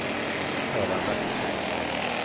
Erland Bertilsson